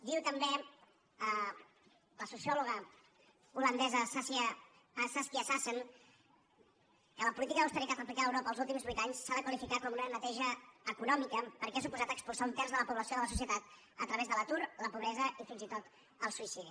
diu també la sociòloga holandesa saskia sassen que la política d’austeritat aplicada a europa els últims vuit anys s’ha de qualificar com una neteja econòmica perquè ha suposat expulsar un terç de la població de la societat a través de l’atur la pobresa i fins i tot el suïcidi